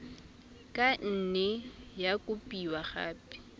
ka nne ya kopiwa gape